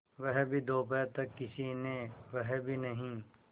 वह भी दोपहर तक किसी ने वह भी नहीं